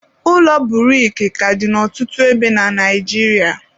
ụlọ buriki ka dị na ọtụtụ ebe na Naịjiria